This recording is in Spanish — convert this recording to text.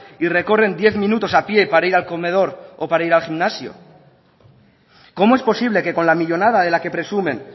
y recogen diez minutos a pie para ir al comedor o para ir al gimnasio cómo es posible que con la millónada de la que presumen